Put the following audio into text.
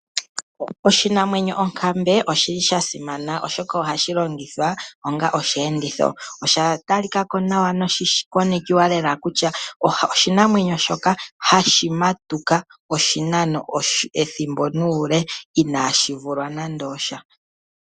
Oshinamwenyo onkambe oshili sha simana oshoka ohashi longithwa onga oshiyenditho osha talikako nawa nosha konekiwa nawa kutya oshinamwenyo shoka hashi matuka oshinano ethimbo nuule inashi vulwa nande osha.